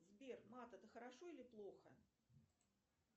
сбер мат это хорошо или плохо